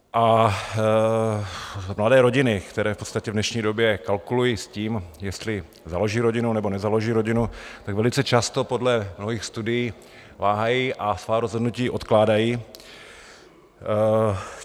A mladé rodiny, které v podstatě v dnešní době kalkuluji s tím, jestli založí rodinu, nebo nezaloží rodinu, tak velice často podle nových studií váhají a svá rozhodnutí odkládají.